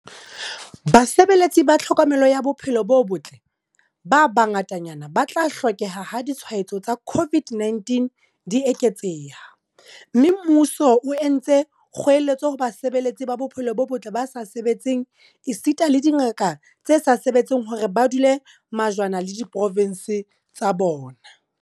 Basebeletsi ba tlhokomelo ya bophelo bo botle ba bangatanyana ba tla hlokeha ha ditshwaetso tsa COVID-19 di eketseha, mme mmuso o entse kgoeletso ho basebeletsi ba bophelo bo botle ba sa sebetseng esita le dingaka tse sa sebetseng hore ba dule majwana le diprovense tsa bona.